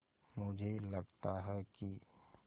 मुझे लगता है कि